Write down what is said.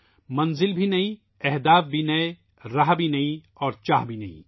منزل بھی نئی ، ہدف بھی نئے ، راستے بھی نئے اور خواہش بھی نئی